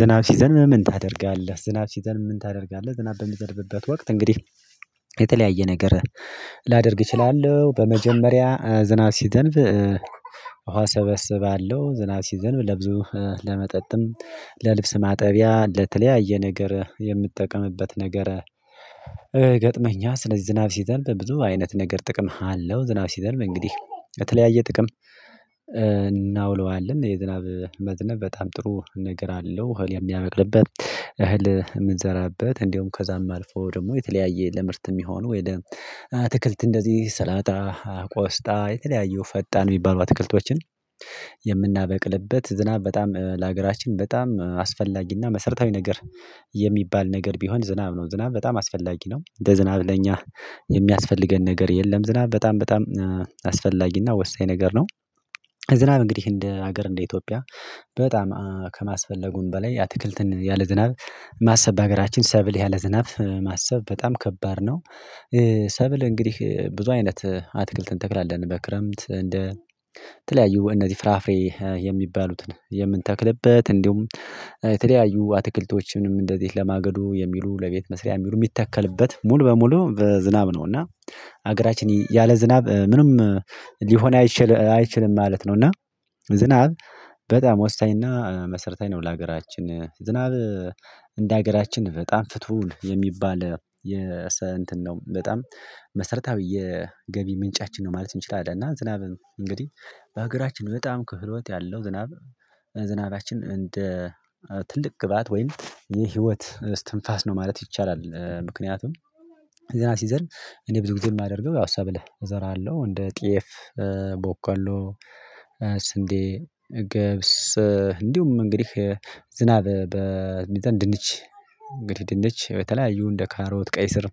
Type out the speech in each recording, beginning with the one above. ዝናብ ሲዘንብ ምን ታደርጋለህ ዝናብ ሲዘንብ ምን ታደርጋለህ? ዝናብ በሚዘንብበት ወቅት እንግዲህ የተለያየ ነገር ላደርግ እችላለሁ። በመጀመሪያ ዝናብ ሲዘንብ። ውሃ እሰበሰባለሁ ዝናብ ሲዘንብ ለብዙ ለመጠጥም ለልብስ ማጠቢያ ለተለያየ ነገር የምጠቀምበት ነገር። ገጥመኛ ስለዚህ ዝናብ ሲዘንብ ብዙ አይነት ነገር ጥቅም አለው። ዝናብ ሲዘንብ እንግዲህ የተለያየ ጥቅም እናውለዋለን የዝናብ መዝነብ በጣም ጥሩ ነገር አለው። እህል የሚያበቅልበት እህል የምንዘራበት እንደውም ከዛም አልፎ ደግሞ የተለያየ ለምርት የሚሆኑ አትክልት እንደዚህ ሰላጣ ቆስጣ የተለያዩ ፈጣን የሚባሉ አትክልቶችን። የምናበቅልበት ዝናብ በጣም ለሀገራችን በጣም አስፈላጊና መሰረታዊ ነገር የሚባል ነገር ቢሆን ዝናብ ነው። ዝናብ በጣም አስፈላጊ ነው እንደ ዝናብ ለኛ የሚያስፈልገን ነገር የለም። ዝናብ በጣም በጣም አስፈላጊና ወሳኝ ነገር ነው። ዝናብ እንግዲህ እንደ ሀገር እንደ ኢትዮጵያ በጣም ከማስፈለጉም በላይ አትክልትን ያለ ዝናብ ማሰብ በሀገራችን ሰብል ያለ ዝናብ ማሰብ በጣም ከባድ ነው። ሰብል እንግዲህ ብዙ አይነት አትክልትን እንተክላለን በክረምት እንደ ተለያዩ እነዚህ ፍራፍሬ የሚባሉትን የምንተክልበት እንዲሁም የተለያዩ አትክልቶችንም እንደዚሁ ለማገዶ የሚሉ ለቤት መስሪያ የሚሉ የሚተከልበት ሙሉ በሙሉ በዝናብ ነው። እና ሀገራችን ያለ ዝናብ ምንም ሊሆን አይችልም ማለት ነው። እና ዝናብ በጣም ወሳኝና መሰረታዊ ነው። ለሀገራችን ዝናብ እንደ ሀገራችን በጣም ፍቱን የሚባል የሰ እንትን ነው በጣም መሰረታዊ የገቢ ምንጫችን ነው ማለት እንችላለን። እና ዝናብም እንግዲህ በሀገራችን በጣም ክህሎት ያለው ዝናብ ዝናባችን እንደ ትልቅ ግብአት ወይም የህይወት እስትንፋስ ነው ማለት ይቻላል። ምክንያቱም ዝናብ ሲዘንብ እኔ ብዙ ጊዜ የማደርገው ያው ሰብል እዘራለሁ። እንደ ጤፍ በቆሎ ስንዴ ገብስ እንዲሁም እንግዲህ ዝናብ በንድንች እንግዲህ ድንች የተለያዩ እንደ ካሮት ቀይ ስር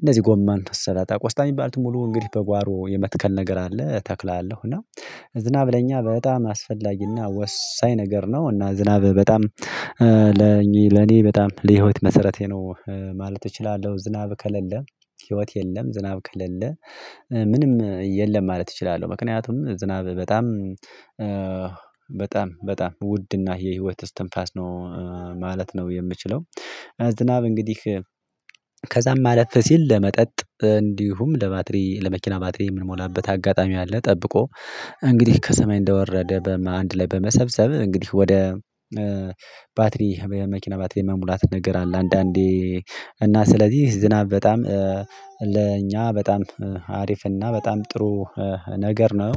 እነዚህ ጎማን ሰላጣ ቆስጣ የሚባሉትን ሙሉ እንግዲህ በጓሮ የመትከል ነገር አለ። ተክላለው እና ዝናብ ለኛ በጣም አስፈላጊና ወሳኝ ነገር ነው። እና ዝናብ በጣም ለኔ በጣም ለህይወት መሰረቴ ነው ማለት እችላለሁ። ዝናብ ከሌለ ህይወት የለም ዝናብ ከሌለ ምንም የለም ማለት እችላለሁ። ምክንያቱም ዝናብ በጣም በጣም በጣም ውድና የህይወት እስትንፋስ ነው። ማለት ነው። የምችለው ዝናብ እንግዲህ ከዛም አለፍ ሲል ለመጠጥ እንዲሁም ለባትሪ ለመኪና ባትሪ የምንሞላበት አጋጣሚ አለ። ጠብቆ እንግዲህ ከሰማይ እንደወረደ በአንድ ላይ በመሰብሰብ እንግዲህ ወደ ባትሪ የመኪና ባትሪ የመሙላት ነገር አለ። አንዳንዴ እና ስለዚህ ዝናብ በጣም ለእኛ በጣም አሪፍ እና በጣም ጥሩ ነገር ነው።